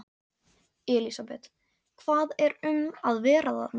Elísabet, hvað er um að vera þarna?